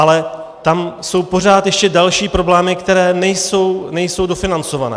Ale tam jsou pořád ještě další problémy, které nejsou dofinancované.